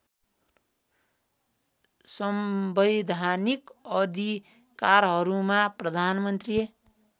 संवैधानिक अधिकारहरूमा प्रधानमन्त्री